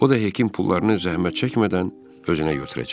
O da həkim pullarını zəhmət çəkmədən özünə götürəcək.